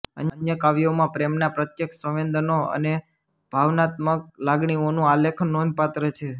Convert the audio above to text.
અન્ય કાવ્યોમાં પ્રેમનાં પ્રત્યક્ષ સંવેદનો અને ભાવનાત્મક લાગણીઓનું આલેખન નોંધપાત્ર છે